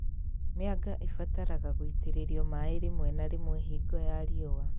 Mĩanga ĩbataraga gũitĩrĩrio maĩ rĩmwe na rĩmwe hingo ya riũa